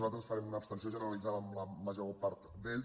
nosaltres farem una abstenció generalitzada en la major part d’ells